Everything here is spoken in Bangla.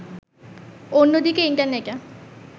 অন্যদিকে, ইন্টারনেটে